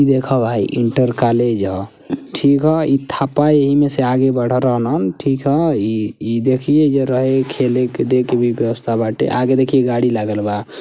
देख भाई inter college ह ठीक ह इ थप्पा एही में से आगे बढ़ल रहलन ठीक ह ई देखिये जरा ई खेले-कूदे के भी व्यवस्था बाटे आगे देखिये गाड़ी लागल बा।